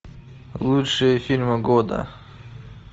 лучшие фильмы года